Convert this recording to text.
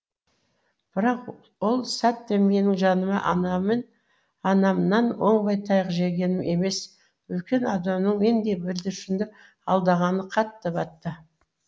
бірақ ол сәтте менің жаныма анамен оңбай таяқ жегенім емес үлкен адамның мендей бүлдіршінді алдағаны қатты батты